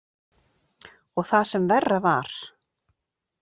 Og það sem verra var.